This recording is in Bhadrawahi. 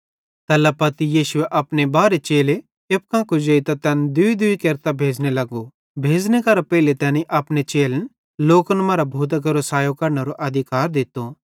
तैल्ला पत्ती यीशुए अपने बारहे चेले एप्पू कां कुजेइतां तैन दूईदूई केरतां भेज़ने लगो भेज़ने केरां पेइले तैनी अपने चेलन लोकन मरां भूतां केरो सायो कढनेरो अधिकार दित्तो